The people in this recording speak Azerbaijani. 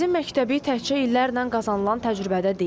Dənizin məktəbi təkcə illərlə qazanılan təcrübədə deyil.